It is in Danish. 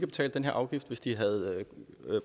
betalt den her afgift hvis de havde